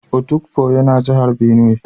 Otukpo yana jihar benue